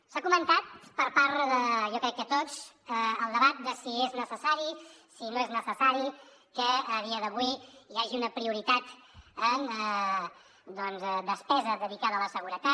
s’ha comentat per part de jo crec que tots el debat de si és necessari si no és necessari que a dia d’avui hi hagi una prioritat en doncs despesa dedicada a la seguretat